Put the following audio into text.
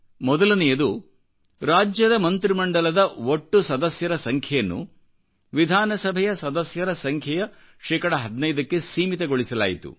ಮೊದಲನೆಯದು ರಾಜ್ಯದ ಮಂತ್ರಿಮಂಡಲದ ಒಟ್ಟು ಸದಸ್ಯರ ಸಂಖ್ಯೆಯನ್ನು ವಿಧಾನಸಭೆಯ ಸದಸ್ಯರ ಸಂಖ್ಯೆಯ ಶೇಕಡಾ 15ಕ್ಕೆಸೀಮಿತಗೊಳಿಸಲಾಯಿತು